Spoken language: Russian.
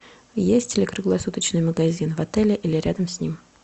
есть ли круглосуточный магазин в отеле или рядом с ним